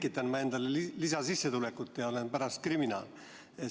Või tekitan ma endale lisasissetulekut ja olen pärast kriminaal?